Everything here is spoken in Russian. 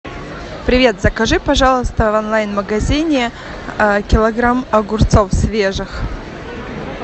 привет закажи пожалуйста в онлайн магазине килограмм огурцов свежих